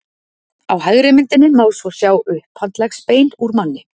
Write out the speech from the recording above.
Á hægri myndinni má svo sjá upphandleggsbein úr manni.